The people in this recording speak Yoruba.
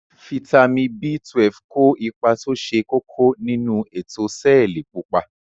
Fítàmì B12 ko ipa to se koko ninu eto seeli pupa.